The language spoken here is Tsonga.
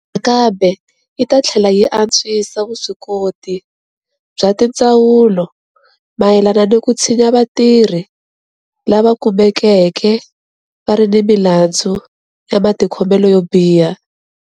Nakambe yi ta tlhela yi antswisa vuswikoti bya tindzawulo mayelana ni ku tshinya vatirhi lava kumekeke va ri ni milandzu ya matikhomelo yo biha.